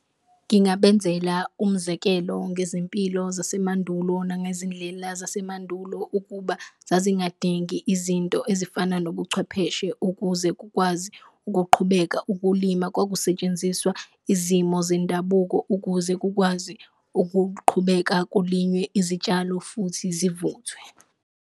Ngingabenzela umzekelo ngezimpilo zasemandulo nangezindlela zasemandulo, ukuba zazingadingi izinto ezifana nobuchwepheshe ukuze kukwazi ukuqhubeka ukulima. Kwakusetshenziswa izimo zendabuko ukuze kukwazi ukuqhubeka kulinywe izitshalo futhi zivuthwe.